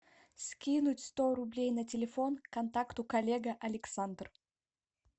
скинуть сто рублей на телефон контакту коллега александр